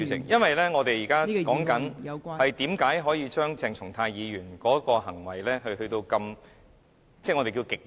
因為我們現正討論為何可以對鄭松泰議員的行為處以所謂極刑。